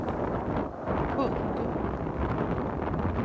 pund